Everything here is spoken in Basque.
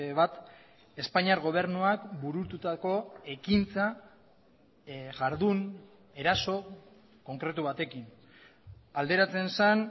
bat espainiar gobernuak burututako ekintza jardun eraso konkretu batekin alderatzen zen